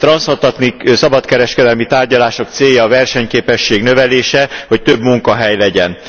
A transzatlanti szabadkereskedelmi tárgyalások célja a versenyképesség növelése, hogy több munkahely legyen.